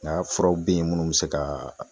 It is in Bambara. Nga furaw be yen munnu be se ka